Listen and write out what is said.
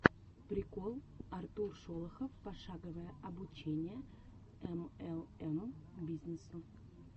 прикол артур шолохов пошаговое обучение млм бизнесу